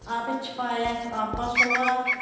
Adı Kifayət Abbasova.